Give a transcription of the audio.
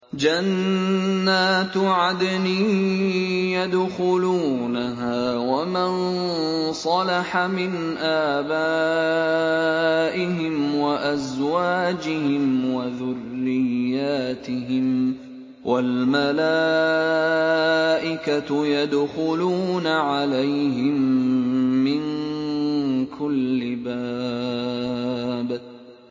جَنَّاتُ عَدْنٍ يَدْخُلُونَهَا وَمَن صَلَحَ مِنْ آبَائِهِمْ وَأَزْوَاجِهِمْ وَذُرِّيَّاتِهِمْ ۖ وَالْمَلَائِكَةُ يَدْخُلُونَ عَلَيْهِم مِّن كُلِّ بَابٍ